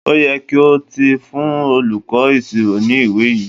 Óyẹ kí o ti fún olùkọ́ ìṣirò ní ìwẹ́ yìí!